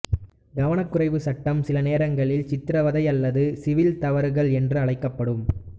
கவனக்குறைவு சட்டம்சில நேரங்களில் சித்திரவதை அல்லது சிவில் தவறுகள் என்று அழைக்கப்படும்